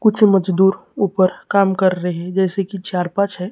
कुछ मजदूर ऊपर काम कर रहे जैसे की चार पांच है।